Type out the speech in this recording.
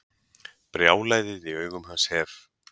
Brjálæðið í augum hans hef